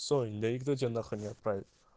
соль да и кто тебя на хуй не отправит